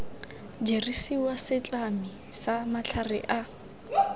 dirisiwa setlami sa matlhare a